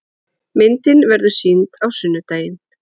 Myndin verður sýnd á sunnudaginn.